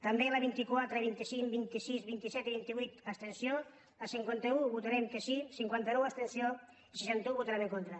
també a la vint quatre vint cinc vint sis vint set i vint vuit abstenció a la cinquanta un votarem que sí a la cinquanta nou abstenció i a la seixanta un hi votarem en contra